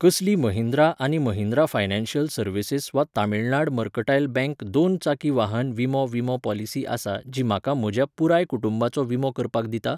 कसली महिंद्रा आनी Mahindra financial services वा तमिळनाड मर्कटायल बँक दोन चाकी वाहन विमो विमो पॉलिसी आसा जी म्हाका म्हज्या पुराय कुटुंबाचो विमो करपाक दिता?